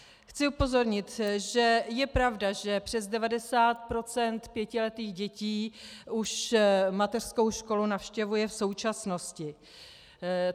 Chci upozornit, že je pravda, že přes 90 % pětiletých dětí už mateřskou školu navštěvuje v současnosti.